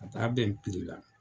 A ka bɛn la.